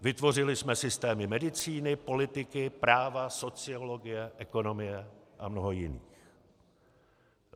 Vytvořili jsme systémy medicíny, politiky, práva, sociologie, ekonomie a mnoho jiných.